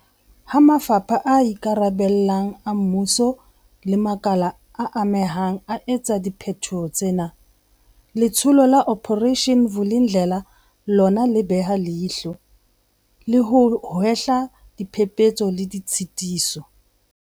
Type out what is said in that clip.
Ha mafapha a ikarabellang a mmuso le makala a amehang a etsa dipheto tsena, Letsholo la Operation Vuli ndlela lona le beha leihlo, le ho hlwaya diphephetso le ditshitiso.